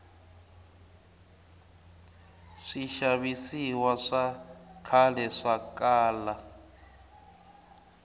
swixavisiwa swa khale swakala